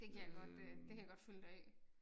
Det kan jeg godt øh det kan jeg godt følge dig i